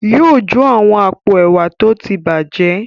Yóò jó àwọn àpò ẹ̀wà tó ti bàjẹ́.